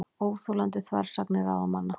Óþolandi þversagnir ráðamanna